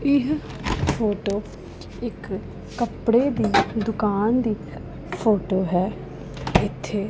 ਇਹ ਫ਼ੋਟੋ ਇੱਕ ਕੱਪੜੇ ਦੀ ਦੁਕਾਨ ਦੀ ਫ਼ੋਟੋ ਹੈ ਇੱਥੇ--